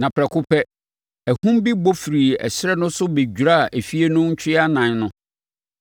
na prɛko pɛ, ahum bi bɔ firii ɛserɛ no so bɛdwiraa efie no ntwea ɛnan no.